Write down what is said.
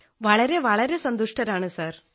വളരെവളരെ സന്തുഷ്ടരാണ് സാർ